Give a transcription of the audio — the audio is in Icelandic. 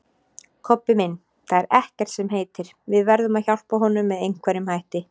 Kobbi minn, það er ekkert sem heitir, við verðum að hjálpa honum með einhverjum hætti